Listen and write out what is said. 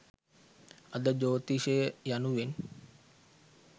අද ජ්‍යෝතිෂය යනුවෙන්